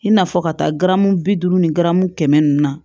I n'a fɔ ka taa garamu bi duuru ni gɛri kɛmɛ ninnu na